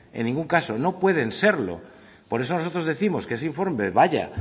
en ningún caso pueden serlo por eso nosotros décimos que ese informe vaya